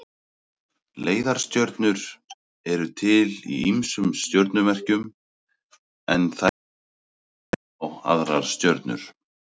Leiðarstjörnur eru til í ýmsum stjörnumerkjum en þær vísa þá á aðrar stjörnur.